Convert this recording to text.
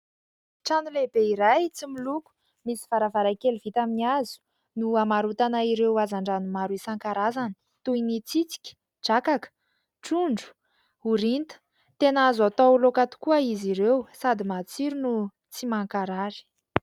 Trano lehibe iray tsy miloko, misy varavarankely vita amin'ny hazo no hamarotana ireo hazan-drano maro isan-karazana toy ny : tsitsika, drakaka, trondro, orinta... Tena azo atao laoka tokoa izy ireo, sady matsiro no tsy mankarary.